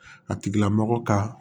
A tigila mɔgɔ ka